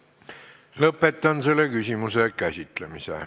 Lõpetan selle küsimuse käsitlemise.